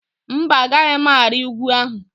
Mba, Agaghị m ari ugwu ahụ.